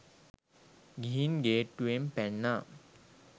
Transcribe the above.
ගිහින් ගේට්ටුවෙන් පැන්නා